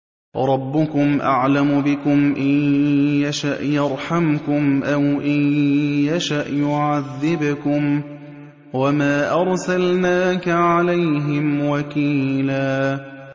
رَّبُّكُمْ أَعْلَمُ بِكُمْ ۖ إِن يَشَأْ يَرْحَمْكُمْ أَوْ إِن يَشَأْ يُعَذِّبْكُمْ ۚ وَمَا أَرْسَلْنَاكَ عَلَيْهِمْ وَكِيلًا